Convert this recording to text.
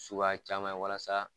Suguya caman ye walasa